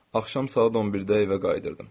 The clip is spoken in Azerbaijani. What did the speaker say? Axşam saat 11-də evə qayıdırdım.